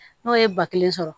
N'o ye ba kelen sɔrɔ